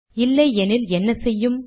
இல்லை எனில் என்ன செய்யும்